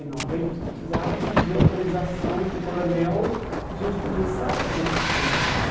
Eu precisava pedir autorização para o coronel para a gente começar a fazer capoeira ali.